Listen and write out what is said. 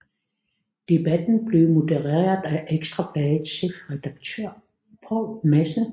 Debatten blev modereret af Ekstra Bladets chefredaktør Poul Madsen